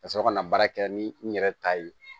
Ka sɔrɔ ka na baara kɛ ni n yɛrɛ ta ye